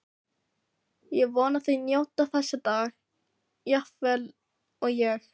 Ég vona þið njótið þessa dags jafn vel og ég.